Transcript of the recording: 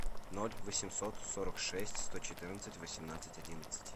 ноль восемьсот сорок шесть сто четырнадцать восемнадцать одиннадцать